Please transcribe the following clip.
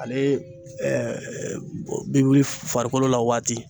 Ale bi wili farikolo la waati.